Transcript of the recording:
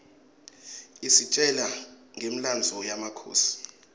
isitjela ngemlandvo yemakhosi